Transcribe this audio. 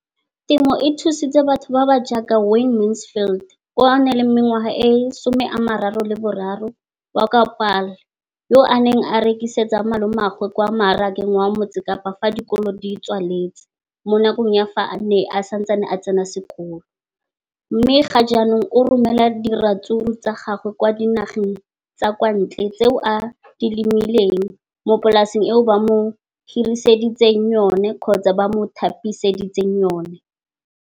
leno le thusitse batho ba ba jaaka Wayne Mansfield, 33, wa kwa Paarl, yo a neng a rekisetsa malomagwe kwa Marakeng wa Motsekapa fa dikolo di tswaletse, mo nakong ya fa a ne a santse a tsena sekolo, mme ga jaanong o romela diratsuru tsa gagwe kwa dinageng tsa kwa ntle tseo a di lemileng mo polaseng eo ba mo hiriseditseng yona.